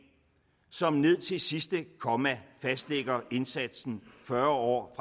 som ned til sidste komma fastlægger indsatsen fyrre år